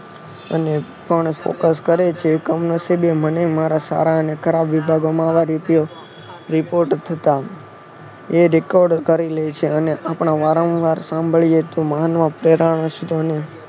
અને પણ Focus કરે છે. એ કમનશીબે મને મારા સારા અને ખરાબ વિભાગો આવા રેડિયો Report થતા એ Record કરી લેય છે અને આપણા વારંવાર સાંભળીયે તો